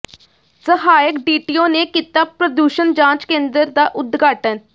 ਸਹਾਇਕ ਡੀਟੀਓ ਨੇ ਕੀਤਾ ਪ੍ਰਦੂਸ਼ਣ ਜਾਂਚ ਕੇਂਦਰ ਦਾ ਉਦਘਾਟਨ